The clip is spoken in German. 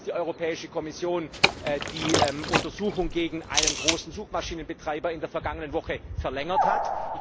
Ich freue mich, dass die Europäische Kommission die Untersuchung gegen einen großen Suchmaschinenbetreiber in der vergangenen Woche verlängert hat.